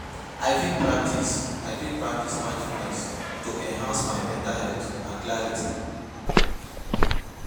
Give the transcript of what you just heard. I fit practice I fit practice mindfulness to enhance my mental health and clarity.